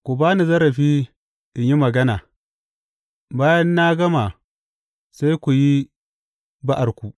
Ku ba ni zarafi in yi magana, bayan na gama sai ku yi ba’arku.